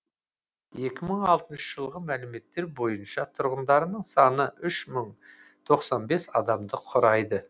екі мың алтыншы жылғы мәліметтер бойынша тұрғындарының саны үш мың тоқсан бес адамды құрайды